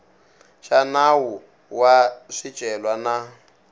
xa nawu wa swicelwa na